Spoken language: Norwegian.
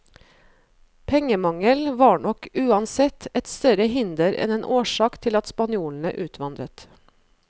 Pengemangel var nok uansett et større hinder enn en årsak til at spanjolene utvandret.